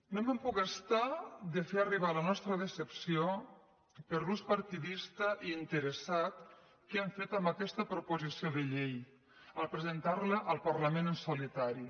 no me’n puc estar de fer arribar la nostra decepció per l’ús par·tidista i interessat que han fet amb aquesta proposició de llei al presentar·la al parlament en solitari